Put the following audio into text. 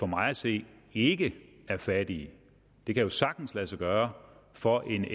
mig at se ikke er fattige det kan jo sagtens lade sig gøre for en